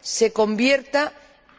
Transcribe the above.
se convierta